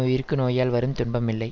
உயிர்க்கு நோயால் வரும் துன்பம் இல்லை